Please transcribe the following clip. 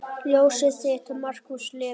Ljósið þitt, Markús Leví.